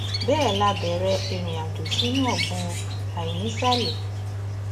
bẹẹ la bẹrẹ ìrìnàjò sínú ọgbun àìnísàlẹ